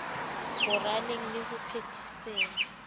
ho raleng le ho phethiseng